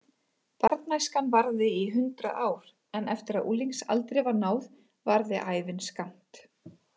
Barnæskan varði í hundrað ár en eftir að unglingsaldri var náð varði ævin skammt.